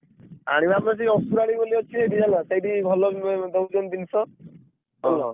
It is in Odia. ଆଣିବା ତ ସେଇ ଅସୁରାଳି ବୋଲି ଅଛି ସେଇଠି ହେଲା ସେଇଠି ଭଲ ଉଁ ଦଉଛନ୍ତି ଜିନିଷ? ।